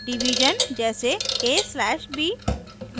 / division जैसे: a/b